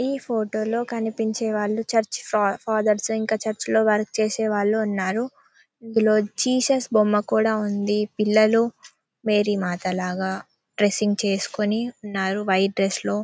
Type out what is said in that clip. ఈ ఫోటో లో కనిపించేవాళ్ళు చర్చి ఫా ఫాథర్స్ ఇంకా చర్చి లో వర్క్ చేసేవాళ్ళు ఉన్నారు. ఇందులో జీసస్ బొమ్మ కూడా ఉంది. పిల్లలు మేరీ మాత లాగా డ్రెస్సింగ్ చేసుకొని ఉన్నారు. వైట్ డ్రెస్ లో--